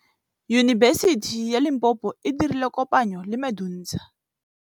Yunibesiti ya Limpopo e dirile kopanyô le MEDUNSA.